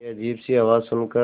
एक अजीब सी आवाज़ सुन कर